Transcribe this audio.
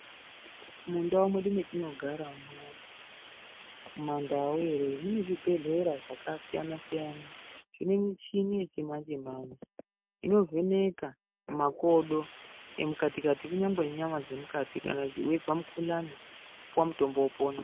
Mundau medu metinogaramo mumandau here munezvibhedhlera zvakasiyana-siyana zvinemichini yechimanje-manje, inovheneka makodo emukati-kati, kunyangwe nenyama dzemukati kana teizwa mukhuhlane zviyani, wopuwa mutombo wopona.